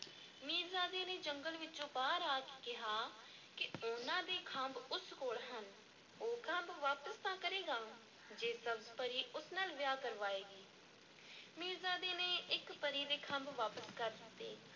ਮੀਰਜ਼ਾਦੇ ਨੇ ਜੰਗਲ ਵਿੱਚੋਂ ਬਾਹਰ ਆ ਕੇ ਕਿਹਾ ਕਿ ਉਹਨਾਂ ਦੇ ਖੰਭ ਉਸ ਕੋਲ ਹਨ, ਉਹ ਖੰਭ ਵਾਪਸ ਤਾਂ ਕਰੇਗਾ ਜੇ ਸਬਜ਼-ਪਰੀ ਉਸ ਨਾਲ ਵਿਆਹ ਕਰਵਾਏਗੀ ਮੀਰਜ਼ਾਦੇ ਨੇ ਇੱਕ ਪਰੀ ਦੇ ਖੰਭ ਵਾਪਸ ਕਰ ਦਿੱਤੇ।